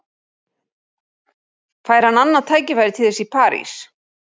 Fær hann annað tækifæri til þess í París?